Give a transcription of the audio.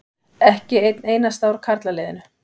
Ekki einn einasta úr karlaliðinu.